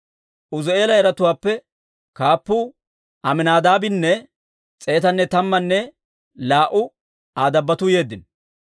Uuzi'eela yaratuwaappe kaappuu Aminaadaabinne s'eetanne tammanne laa"u Aa dabbotuu yeeddino.